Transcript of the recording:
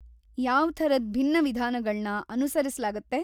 ಯಾವ್ ಥರದ್ ಭಿನ್ನ ವಿಧಾನಗಳ್ನ ಅನುಸರಿಸ್ಲಾಗತ್ತೆ?